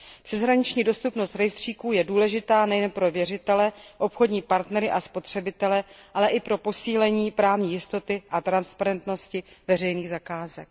Přeshraniční dostupnost rejstříků je důležitá nejen pro věřitele, obchodní partnery a spotřebitele, ale i pro posílení právní jistoty a transparentnosti veřejných zakázek.